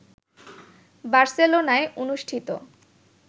বার্সেলোনায় অনুষ্ঠিত